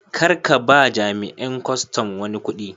Kar ka ba ma jami'in kwastam wani kudi.